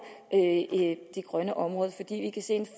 de grønne områder